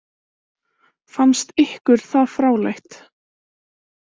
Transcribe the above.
Fannst ykkur það fráleitt?